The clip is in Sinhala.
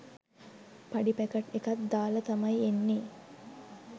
පඩි පැකට් එකත් දාලා තමයි එන්නේ.